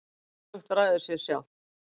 hvorugt ræður sér sjálft